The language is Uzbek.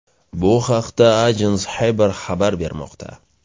Bu haqda Ajans Haber xabar bermoqda .